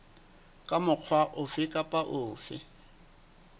ka mokgwa ofe kapa ofe